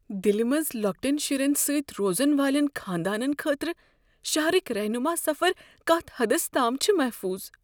دلہ منٛز لۄکٹین شرین سۭتۍ روزن والین خاندانن خٲطرٕ شہرٕکۍ رہنما سفر کتھ حدس تام چھ محفوظ؟